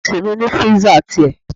Ọ́fíìsì mi ní freezer tìrẹ.